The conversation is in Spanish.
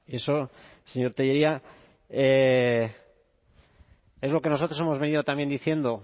eso señor tellería es lo que nosotros hemos venido también diciendo